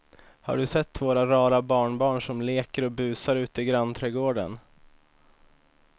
Har du sett våra rara barnbarn som leker och busar ute i grannträdgården!